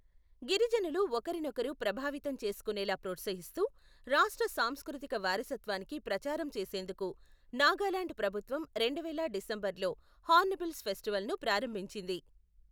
గిరిజనులు ఒకరినొకరు ప్రభావితం చేసుకొనేలా ప్రోత్సహిస్తూ, రాష్ట సాంస్కృతిక వారసత్వానికి ప్రచారం చేసేందుకు, నాగాలాండ్ ప్రభుత్వం రెండువేల డిసెంబర్లో హార్న్బిల్ ఫెస్టివల్ను ప్రారంభించింది.